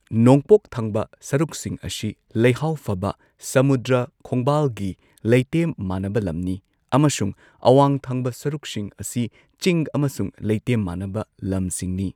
ꯅꯣꯡꯄꯣꯛ ꯊꯪꯕ ꯁꯔꯨꯛꯁꯤꯡ ꯑꯁꯤ ꯂꯩꯍꯥꯎ ꯐꯕ ꯁꯃꯨꯗ꯭ꯔ ꯈꯣꯡꯕꯥꯜꯒꯤ ꯂꯩꯇꯦꯝ ꯃꯥꯅꯕ ꯂꯝꯅꯤ ꯑꯃꯁꯨꯡ ꯑꯋꯥꯡ ꯊꯪꯕ ꯁꯔꯨꯛꯁꯤꯡ ꯑꯁꯤ ꯆꯤꯡ ꯑꯃꯁꯨꯡ ꯂꯩꯇꯦꯝ ꯃꯥꯅꯕ ꯂꯝꯁꯤꯡꯅꯤ